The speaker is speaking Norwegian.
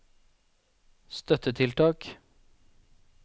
støttetiltak